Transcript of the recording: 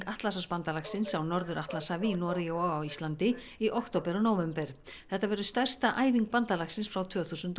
Atlantshafsbandalagsins á Norður Atlantshafi í Noregi og á Íslandi í október og nóvember þetta verður stærsta æfing bandalagsins frá tvö þúsund